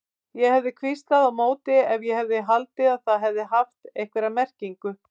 Ég hefði hvíslað á móti ef ég hefði haldið að það hefði haft einhverja merkingu.